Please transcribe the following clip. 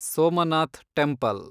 Somnath temple